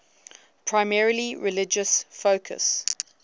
primarily religious focus